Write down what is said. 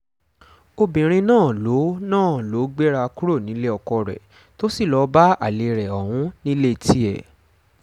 obìnrin náà ló náà ló gbéra kúrò nílé ọkọ rẹ̀ tó sì lọ́ọ́ bá alẹ́ rẹ̀ ọ̀hún nílé tiẹ̀